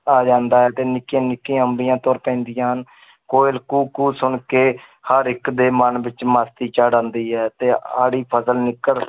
ਆ ਜਾਂਦਾ ਹੈ ਤੇ ਨਿੱਕੀਆਂ ਨਿੱਕੀਆਂ ਅੰਬੀਆਂ ਤੁਰ ਪੈਂਦੀਆਂ ਹਨ ਕੋਇਲ ਕੂ ਕੂ ਸੁਣ ਕੇ ਹਰ ਇੱਕ ਦੇ ਮਨ ਵਿੱਚ ਮਸਤੀ ਚੜ੍ਹ ਆਉਂਦੀ ਹੈ ਤੇ ਹਾੜੀ ਫਸਲ